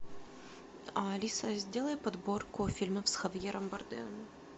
алиса сделай подборку фильмов с хавьером бардемом